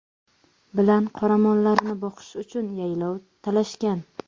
bilan qoramollarini boqish uchun yaylov talashgan.